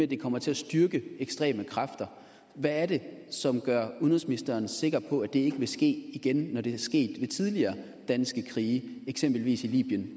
det kommer til at styrke ekstreme kræfter hvad er det som gør udenrigsministeren sikker på at det ikke vil ske igen når det er sket i tidligere danske krige i eksempelvis libyen